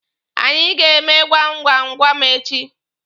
Anyị ga-eme gwam gwam gwam echi.